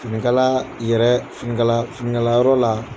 Finikala yɛrɛ finikala finikala yɔrɔ la.